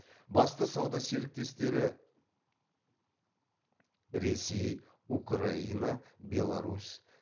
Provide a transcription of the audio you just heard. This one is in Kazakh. басты сауда серіктестері ресей украина беларусь